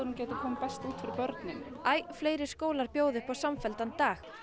þetta kemur best út fyrir börnin æ fleiri skólar bjóða upp á samfelldan dag